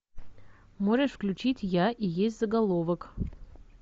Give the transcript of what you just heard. можешь включить я и есть заголовок